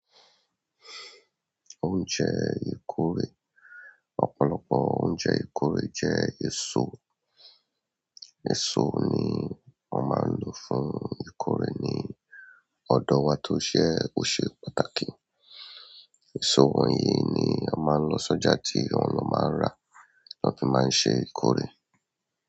Oúnjẹ ìkórè. Ọ̀pọ̀lọpọ̀ oúnjẹ ìkórè jẹ́ èso. Èso ni wọ́n máa ń lò fún ìkórè ní ọ̀dọ̀ wa tó ṣẹ́ ó ṣe pàtàkì. Èso wọ̀nyí ni a máa ń lọ sọ́jà tí àwọn lọ́ máa ń rà, tán fi máa ń ṣe ìkórè.